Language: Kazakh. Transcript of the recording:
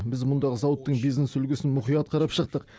біз мұндағы зауыттың бизнес үлгісін мұқият қарап шықтық